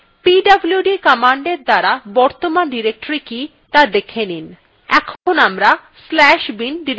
pwd commandএর দ্বারা বর্তমান directory কি ত়া দেখে নিন